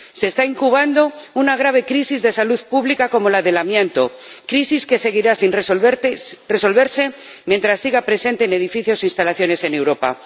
Se está incubando una grave crisis de salud pública como la del amianto, crisis que seguirá sin resolverse mientras siga presente en edificios e instalaciones en Europa.